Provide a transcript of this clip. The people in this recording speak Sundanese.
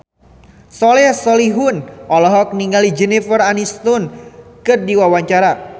Soleh Solihun olohok ningali Jennifer Aniston keur diwawancara